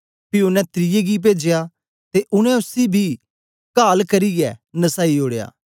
पी ओनें त्रिऐ गी पेजया ते उनै उसी बी काल करियै नसाई ओड़या